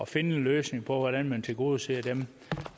finde en løsning på hvordan man tilgodeser dem